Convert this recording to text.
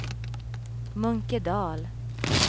Munkedal